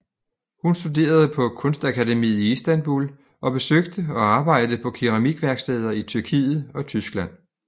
Hun studerede på kunstakademiet i Istanbul og besøgte og arbejdede på keramikværksteder i Tyrkiet og Tyskland